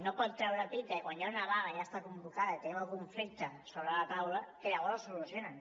no pot treure pit de quan hi ha una vaga ja està convocada i tenim el conflicte sobre la taula que llavors ho solucionen